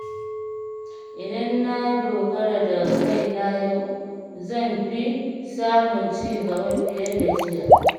Idan na dogara da kaina yau, zan fi samun ci gaba fiye da jiya.